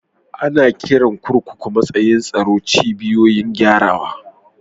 Ana kiran kurkukun matsakaicin tsaro "cibiyoyin gyarawa".